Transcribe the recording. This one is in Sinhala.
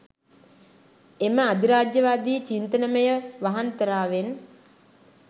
එම අධිරාජ්‍යයවාදී චින්තනමය වහන්තරාවෙන්